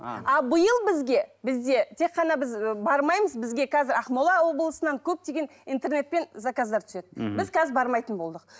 биыл бізге бізде тек қана біз ы бармаймыз бізге қазір ақмола облысынан көптеген интернетпен заказдар түседі мхм біз қазір бармайтын болдық